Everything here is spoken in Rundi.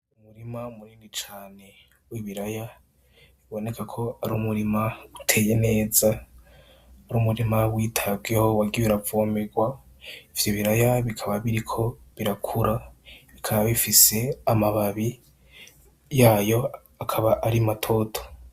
Umurima munini cane w' ibiraya biboneka ko ari umurima uteye neza ari umurima witabweho wagiye uravomegwa ivyo biraya bikaba biriko birakura bikaba bifise amababi yayo akaba ari matoto.